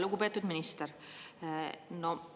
Lugupeetud minister!